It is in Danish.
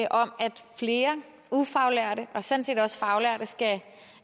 om at flere ufaglærte og sådan set også faglærte skal have